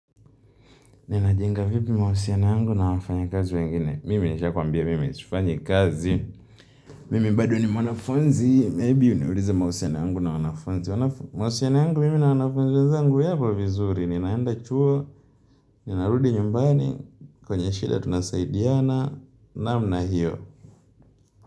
Nina jenga vipi mahusiano yangu na wafanya kazi wengine. Mimi nisha kuambia mimi sifanyi kazi. Mimi bado ni mwanafunzi. Labda uniuliza mahusiano yangu na wanafunzi. Mahusiano yangu mimi na wanafunzi. Wezangu wapo vizuri. Ninaenda chuo. Ninarudi nyumbani. Kwenye shida tunasaidiana. Namna hiyo.